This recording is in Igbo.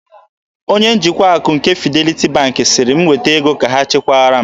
Onye njikwa akụ nke Fidelity Bank sịrị m weta ego ka ha chekwara m.